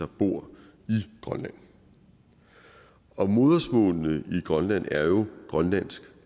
bor i grønland og modersmålene i grønland er jo grønlandsk